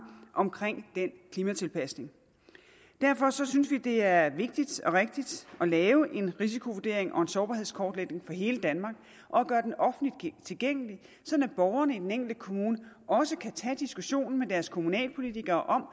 omkring den klimatilpasning derfor synes vi at det er vigtigt og rigtigt at lave en risikovurdering og en sårbarhedskortlægning for hele danmark og gøre den offentligt tilgængelig sådan at borgerne i den enkelte kommune også kan tage diskussionen med deres kommunalpolitikere om